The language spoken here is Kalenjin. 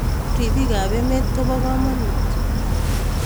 Ripiik ap emeet kopo kamonut